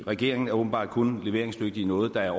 regeringen er åbenbart kun leveringsdygtig i noget der er